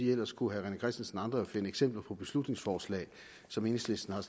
ellers kunne herre rené christensen og andre jo finde eksempler på beslutningsforslag som enhedslisten har